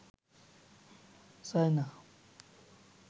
চায় না